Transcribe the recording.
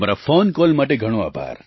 તમારા phone call માટે ઘણો આભાર